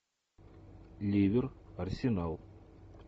ливер арсенал